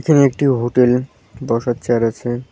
এখানে একটি হোটেল বসার চেয়ার আছে।